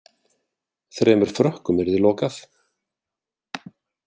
Þremur Frökkum yrði lokað